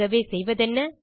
ஆகவே செய்வதென்ன